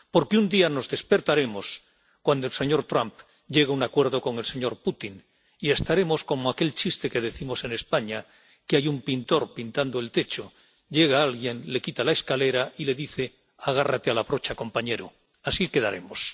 porque un día nos despertaremos cuando el señor Trump llegue a un acuerdo con el señor Putin y estaremos como aquel chiste que decimos en España que hay un pintor pintando el techo, llega alguien, le quita la escalera y le dice agárrate a la brocha, compañero así quedaremos.